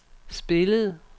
spillede